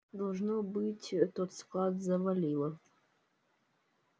должно быть тот склад завалило